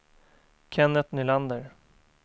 Kennet Nylander